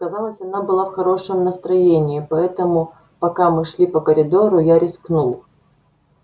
казалось она была в хорошем настроении поэтому пока мы шли по коридору я рискнул